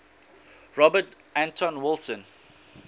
robert anton wilson